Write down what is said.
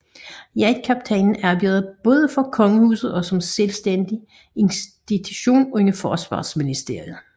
Jagtkaptajnen arbejder både for Kongehuset og som selvstændig institution under Forsvarsministeriet